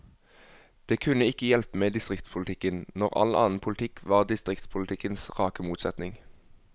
Det kunne ikke hjelpe med distriktspolitikken, når all annen politikk var distriktspolitikkens rake motsetning.